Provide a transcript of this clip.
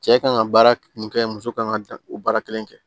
Cɛ kan ŋa baara min kɛ muso kan ŋa o baara kelen kɛ